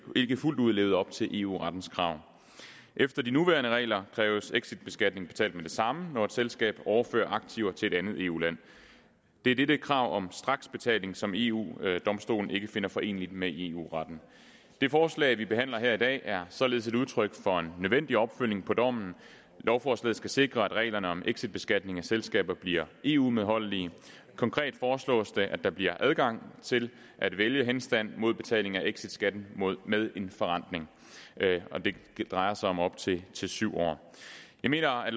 ikke fuldt ud levede op til eu rettens krav efter de nuværende regler kræves exitbeskatning betalt med det samme når et selskab overfører aktiver til et andet eu land det er dette krav om straksbetaling som eu domstolen ikke finder foreneligt med eu retten det forslag vi behandler her i dag er således et udtryk for en nødvendig opfølgning på dommen lovforslaget skal sikre at reglerne om exitbeskatning af selskaber bliver eu medholdelige konkret foreslås det at der bliver adgang til at vælge henstand mod betaling af exitskatten med en forrentning det drejer sig om op til syv år jeg mener at